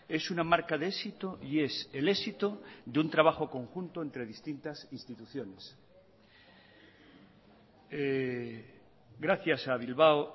es una marca de éxito y es el éxito de un trabajo conjunto entre distintas instituciones gracias a bilbao